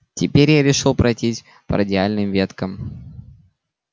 теперь я решил пройтись по радиальным веткам